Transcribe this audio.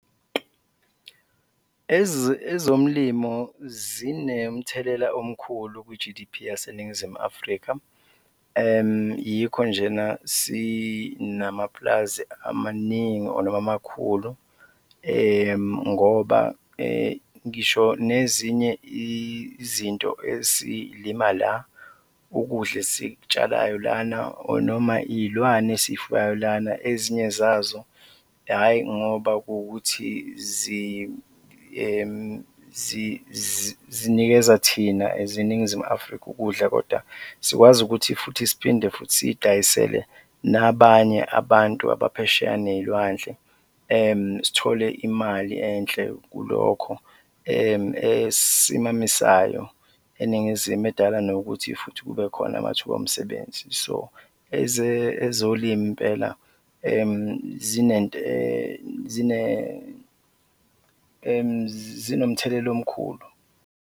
Ezomlimo zinemthelela omkhulu kwi-G_D_P yaseNingizimu Afrika, yikho njena sinamapulazi amaningi or noma amakhulu ngoba ngisho nezinye izinto esiy'lima la, ukudla esikutshalayo lana or noma iy'lwane esiy'fuyayo lana, ezinye zazo hhayi ngoba kuwukuthi zinikeza thina as iNingizimu Afrika ukudla kodwa sikwazi ukuthi futhi siphinde futhi siy'dayisele nabanye abantu abaphesheya neyilwandle, sithole imali enhle kulokho esisimamisayo eNingizimu, edala nokuthi futhi kube khona amathuba omsebenzi so ezolimo impela zinomthelela omkhulu.